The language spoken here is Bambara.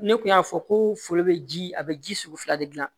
Ne kun y'a fɔ ko foro be ji a be ji sugu fila de gilan